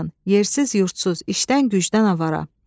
yersiz, yurdsuz, işdən, gücdən avara.